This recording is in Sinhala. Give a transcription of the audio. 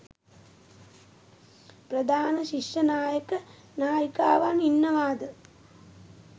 ප්‍රධාන ශිෂ්‍ය නායක නායිකාවන් ඉන්නවාද?